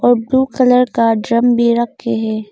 और blue colour का drum भी रखे हैं।